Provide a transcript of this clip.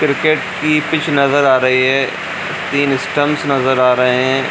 Cricket की pitch नजर आ रही है तीन स्टाम्पस नजर आ रहे हैं।